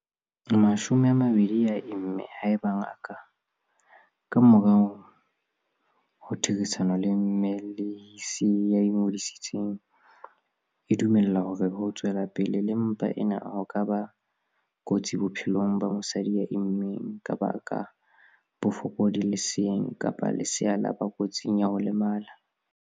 20 a imme haeba ngaka, ka morao ho therisano le mmelehisi ya ingodisitseng, e dumela hore ho tswela pele le mpa ena ho ka ba kotsi bophelong ba mosadi ya immeng, ha baka bofokodi leseeng kapa lesea la ba kotsing ya ho lemala.